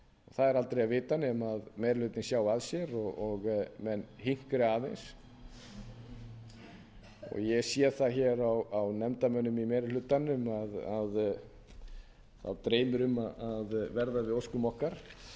það er aldrei að vita nema meiri hlutinn sjái að sér og menn hinkri aðeins ég sé það hér á nefndarmönnum í meiri hlutanum að þá dreymir um að verða við óskum okkar og